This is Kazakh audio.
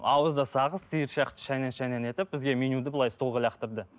ауызда сағыз сиыр сияқты шайнаң шайнаң етіп бізге менюді былай столға лақтырды